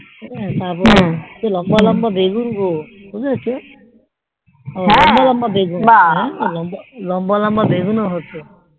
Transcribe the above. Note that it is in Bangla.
হা তারপরে লম্বা লম্বা বেগুন গো বুজতে পেরেছো লম্বা লম্বা বেগুন হম লম্বা লম্বা বেগুন ও হতো